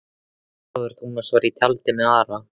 Ólafur Tómasson var í tjaldi með Ara.